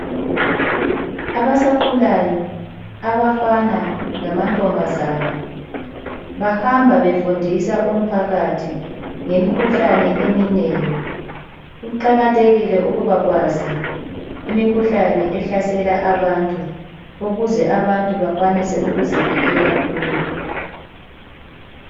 Abasakhulayo abafana lamantombazana bahamba befundisa umphakathi ngemikhuhlane eminengi. Kuqakathekile ukuba kwazi imikhuhlane ehlasela abantu ukuze abantu bakwanise ukuzivikela kuyo.